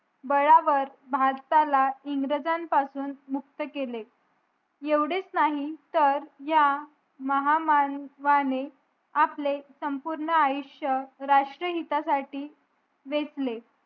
बळावर भारताला इंग्रजां पासून मुक्त केले येवढेच नाही तर ह्या महामानवाने आपले संपूर्ण आयुष्य राष्ट्रहिता साठी वेचले